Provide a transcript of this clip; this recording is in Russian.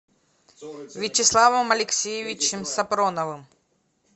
вячеславом алексеевичем сапроновым